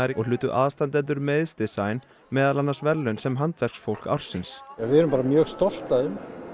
og hlutu aðstandendur meiðs meðal annars verðlaun sem handverksfólk ársins við erum bara mjög stolt af þeim